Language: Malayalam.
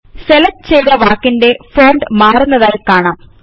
സെലക്ട് ചെയ്ത വാക്കിന്റെ ഫോണ്ട് മാറുന്നതായി കാണാം